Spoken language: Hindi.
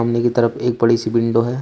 सामने की तरफ एक बड़ी सी विंडो है।